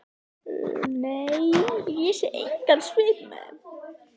Nei, ég sé engan svip með þeim.